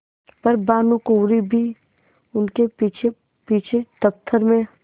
पर भानुकुँवरि भी उनके पीछेपीछे दफ्तर में